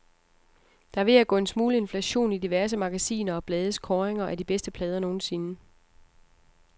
Der er ved at gå en smule inflation i diverse magasiner og blades kåringer af de bedste plader nogensinde.